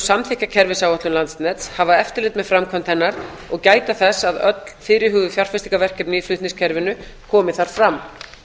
samþykkja kerfisáætlun landsnets hafa eftirlit með framkvæmd hennar og gæta þess að öll fyrirhuguð fjárfestingarverkefni í flutningskerfinu komi þar fram